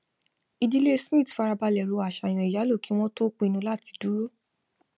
ìdílé smith farabalẹ ro àṣàyàn ìyálò kí wón tó pinnu láti dúró